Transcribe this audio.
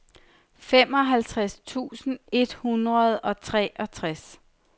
femoghalvtreds tusind et hundrede og treogtres